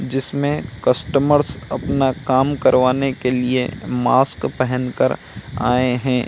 जिसमे कस्टमर्स अपना काम करवाने के लिए मास्क पहन कर आए हैं।